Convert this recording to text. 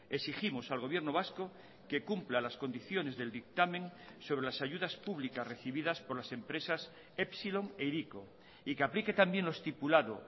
exigimos al gobierno vasco que cumpla las condiciones del dictamen sobre las ayudas públicas recibidas por las empresas epsilon e hiriko y que aplique también lo estipulado